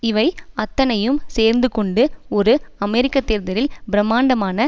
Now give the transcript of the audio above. இவை அத்தனையும் சேர்ந்து கொண்டு ஒரு அமெரிக்க தேர்தலில் பிரமாண்டமான